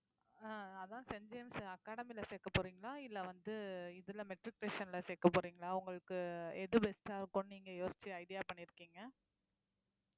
ஆஹ் அதான் Saint James academy ல சேர்க்க போறீங்களா இல்லை வந்து இதுல matriculation ல சேர்க்க போறீங்களா உங்களுக்கு எது best ஆ இருக்கும்னு நீங்க யோசிச்சு idea பண்ணியிருக்கீங்க